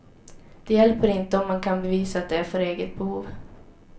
Det hjälper inte om man kan bevisa att det är för eget behov.